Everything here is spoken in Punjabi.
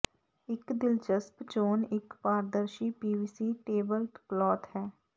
ਇੱਕ ਦਿਲਚਸਪ ਚੋਣ ਇੱਕ ਪਾਰਦਰਸ਼ੀ ਪੀਵੀਸੀ ਟੇਬਲ ਕਲੌਥ ਹੈ